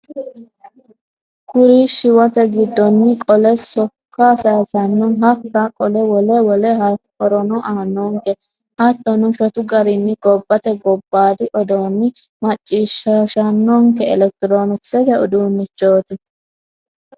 Kuri shiwote giddoni qole sokka saysano hakka qole wole wole horono aanonke hattono shotu garinni gobbate gobbadi odoono maccishshishanonke elekitironkisete uduunchoti.